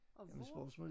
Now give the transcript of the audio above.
Og hvor